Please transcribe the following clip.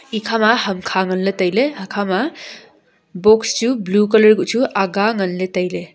ekhama hamkha nganley tailey hakha ma books chu blue colour guh chu aga nganley tailey.